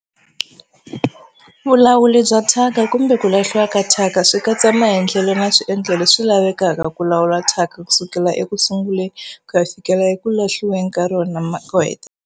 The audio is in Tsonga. Vulawuri bya thyaka kumbe ku lahliwa ka thyaka swi katsa maendlelo na swiendlo leswi lavekaka ku lawula thyaka ku sukela eku sunguleni ku ya fikela eku lahliweni ka rona ko hetelela.